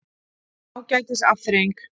Ágætis afþreying.